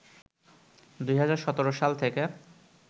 ২০১৭ সাল থেকে